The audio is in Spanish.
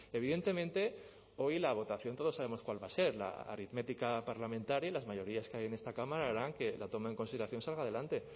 evidentemente hoy la votación todos sabemos cuál va a ser la aritmética parlamentaria y las mayorías que hay en esta cámara harán que la toma en consideración salga adelante